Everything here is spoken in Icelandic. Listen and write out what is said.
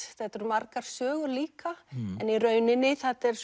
þetta eru margar sögur líka en í rauninni þetta er